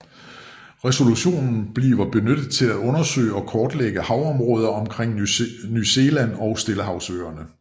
Resolution bliver benyttet til at undersøge og kortlægge havområderne omkring New Zealand og stillehavsøerne